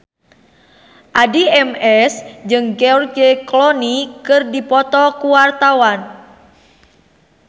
Addie MS jeung George Clooney keur dipoto ku wartawan